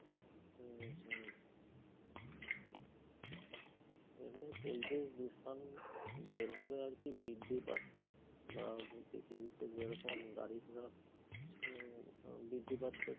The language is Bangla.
হম হম. এমনই পরিবেশ দূষণ যেভাবে আর কি বৃদ্ধি পাছে, বা পৃথিবীতে যেরকম গাড়িঘোড়া উম আ বৃদ্ধি পাছে,